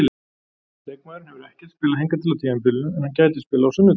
Leikmaðurinn hefur ekkert spilað hingað til á tímabilinu en hann gæti spilað á sunnudag.